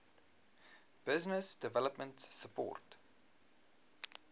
business development support